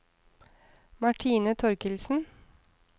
Martine Torkildsen